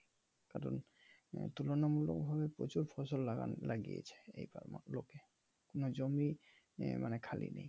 কারন তুলনা মূলক ভাবে প্রচুর ফসল লাগানো লাগিয়েছে এ ফার্মের লোকে কোন জমিই মানে খালি নেই ।